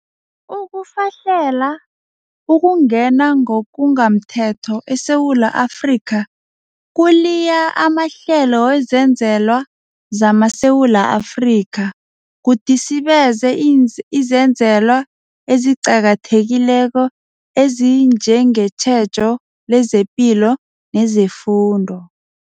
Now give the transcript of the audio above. Ukufahlela, ukungena ngokungamthetho, eSewula Afrika kuliya amahlelo wezenzelwa zamaSewula Afrika, kudisibeze izenzelwa eziqakathekileko ezinjengetjhejo lezepilo nezefundo.